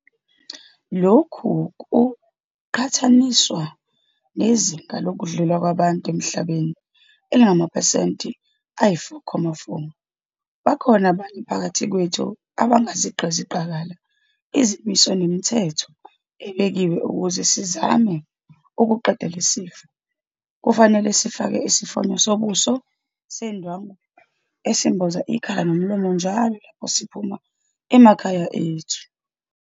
Lokhu kuqhathaniswa nezinga lokudlula kwabantu emhlabeni elingamaphesenti ayi-4.4. Bakhona abanye phakathi kwethu abangazigqizi qakala izimiso nemithetho ebekiwe ukuze sizame ukuqeda lesi sifo. Kufanele sifake isimfonyo sobuso sendwangu esimboza ikhala nomlomo njalo lapho siphuma emakhaya ethu.